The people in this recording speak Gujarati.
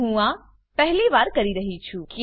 હું આ પહેલી વાર કરી રહ્યી છું